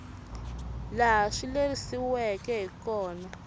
laha swi lerisiweke hi kona